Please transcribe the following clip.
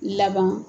Laban